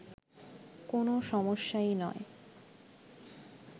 কোন সমস্যাই নয়